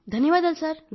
ధన్యవాదాలు సార్